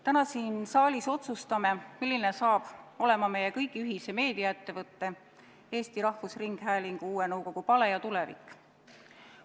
Täna siin saalis otsustame, milline saab olema meie kõigi ühise meediaettevõtte Eesti Rahvusringhäälingu uue nõukogu pale ja tulevik.